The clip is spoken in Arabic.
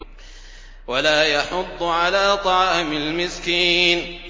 وَلَا يَحُضُّ عَلَىٰ طَعَامِ الْمِسْكِينِ